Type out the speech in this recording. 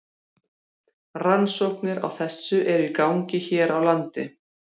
Rannsóknir á þessu eru í gangi hér á landi.